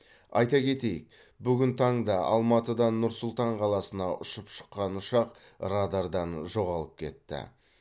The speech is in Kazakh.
айта кетейік бүгін таңда алматыдан нұр сұлтан қаласына ұшып шыққан ұшақ радардан жоғалып кетті